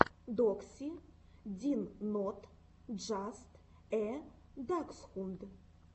докси дин нот джаст э даксхунд